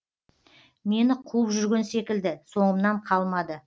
мені қуып жүрген секілді соңымнан қалмады